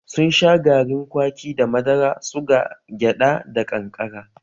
Sun sha garin kwaki da madara, suga, gyada da ƙanƙara